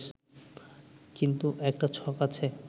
কিন্তু একটা ছক আছে